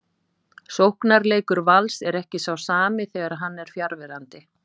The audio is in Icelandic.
Sóknarleikur Vals er ekki sá sami þegar hann er fjarverandi.